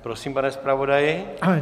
Prosím, pane zpravodaji.